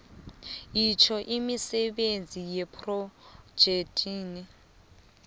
itjho imisebenzi yephrojekhthi